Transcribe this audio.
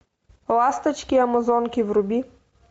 ласточки амазонки вруби